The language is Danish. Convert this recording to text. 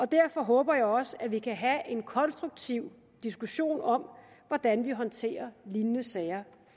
derfor håber jeg også at vi kan have en konstruktiv diskussion om hvordan vi håndterer lignende sager